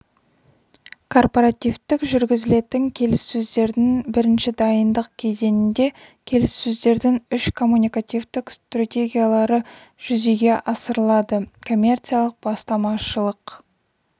корпоративтік жүргізілетін келіссөздердің бірінші дайындық кезеңінде келіссөздердің үш коммуникативтік стратегиялары жүзеге асырылады коммерциялық-бастамашылық